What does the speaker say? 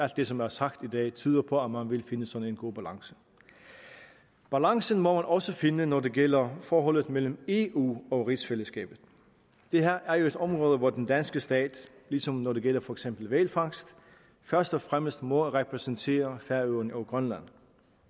det som er sagt i dag tyder på at man vil finde en sådan god balance balancen må man også finde når det gælder forholdet mellem eu og rigsfællesskabet det her er jo et område hvor den danske stat ligesom når det gælder for eksempel hvalfangst først og fremmest må repræsentere færøerne og grønland